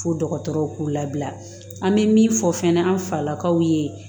Fo dɔgɔtɔrɔw k'u labila an bɛ min fɔ fɛnɛ an falakaw ye